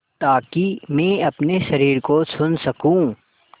ताकि मैं अपने शरीर को सुन सकूँ